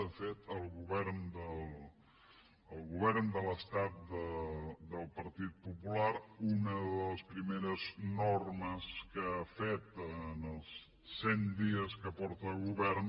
de fet el govern de l’estat del partit popular una de les primeres normes que ha fet en els cent dies que és al govern